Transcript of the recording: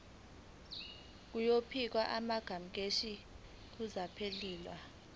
izokhipha amasamanisi kummangalelwa